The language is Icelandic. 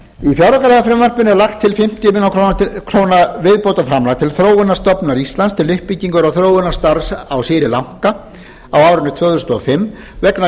fjáraukalagafrumvarpinu er lagt til fimmtíu milljónir króna viðbótarframlag til þróunarstofnunar íslands til uppbyggingar og þróunarstarfs á sri lanka á árinu tvö þúsund og fimm vegna